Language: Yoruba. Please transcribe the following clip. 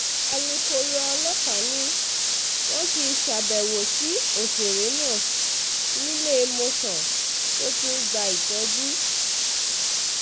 alūkkóró ọlọ́pàá ni wọ́n ti ṣàbẹ̀wò sí òṣèré náà níléemọ̀sán tó ti ń gba ìtọ́jú